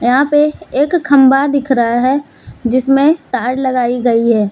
यहां पे एक खंभा दिख रहा है जिसमे तार लगाई गई है।